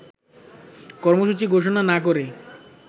কর্মসূচি ঘোষণা না করে